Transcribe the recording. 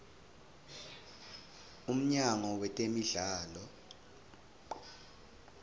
umnyango wetemidlalo